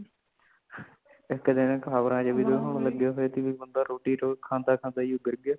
ਇੱਕ ਦਿਨ ਖ਼ਬਰਾਂ ਵਿੱਚ ਹੁਣ ਲਗੇ ਹੋਈ ਬੰਦਾ ਰੋਟੀ ਖਾਂਦਾ ਖਾਂਦਾ ਹੀ ਗੀਰ ਗਯਾ